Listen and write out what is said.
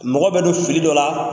Mɔgɔ bɛ don fili dɔ la